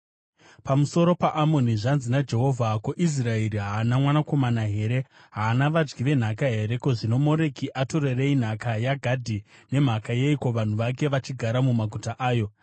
Pamusoro paAmoni: Zvanzi naJehovha: “Ko, Israeri haana mwanakomana here? Haana vadyi venhaka here? Ko, zvino Moreki atorerei nhaka yaGadhi? Nemhaka yeiko vanhu vake vachigara mumaguta ayo?